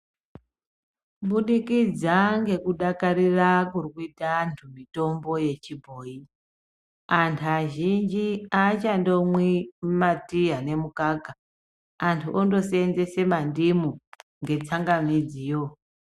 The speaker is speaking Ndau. Kubudikidza ngekudakarira kurikuita antu mitombo yechibhoi antu azhinji aachandomwi ma tii ane mukaka antu ondoseenzesa mandimu.